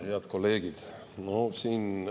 Head kolleegid!